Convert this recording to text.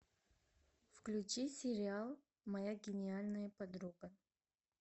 включи сериал моя гениальная подруга